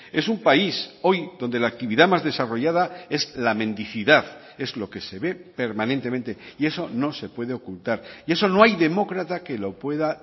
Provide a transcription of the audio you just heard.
es un país hoy donde la actividad más desarrollada es la mendicidad es lo que se ve permanentemente y eso no se puede ocultar y eso no hay demócrata que lo pueda